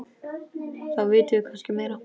Þá vitum við kannski meira.